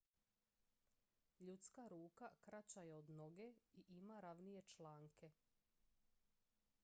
ljudska ruka kraća je od noge i ima ravnije članke